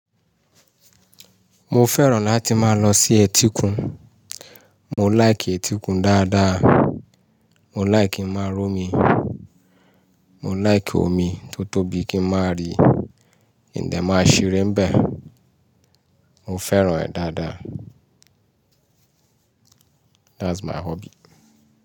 Mo fẹ́ràn láti máa lọ sí etíkun. Mo like etíkun dáadáa. Mo like kí n máa ró mi. Mo like omi tó tóbi kí n máa rí. Nde máa ṣeré bẹ. Mo fẹ́ràn ẹ́ dáadáa. That's my hobby.